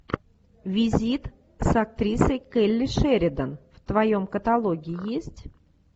визит с актрисой келли шеридан в твоем каталоге есть